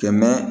Kɛmɛ